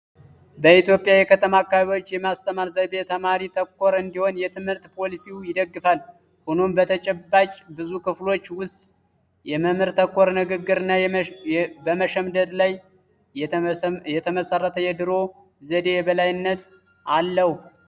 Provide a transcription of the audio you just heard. በኢትዮጵያ የከተማ አካባቢዎች የማስተማር ዘይቤ ተማሪ-ተኮር እንዲሆን የትምህርት ፖሊሲው ይደግፋል። ሆኖም በተጨባጭ ብዙ ክፍሎች ውስጥ መምህር-ተኮር ንግግር እና በመሸምደድ ላይ የተመሠረተ የድሮ ዘዴ የበላይነት አለው።